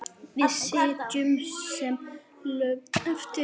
Við sitjum sem lömuð eftir.